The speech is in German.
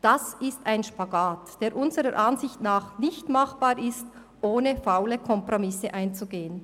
Das ist ein Spagat, der unserer Ansicht nach nicht machbar ist, ohne faule Kompromisse einzugehen.